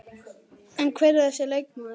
En hver er þessi leikmaður?